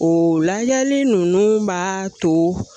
O lajali nunnu b'a to